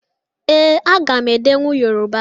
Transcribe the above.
Ee, aga m edenwu Yoruba.